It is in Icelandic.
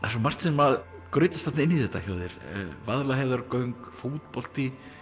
svo margt sem grautast inn í þetta hjá þér Vaðlaheiðargöng fótbolti